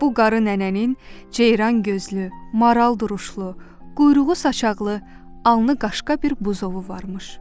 Bu qarı nənənin ceyran gözlü, maral duruşlu, quyruğu saçaqlı, alnı qaşqa bir buzovu varmış.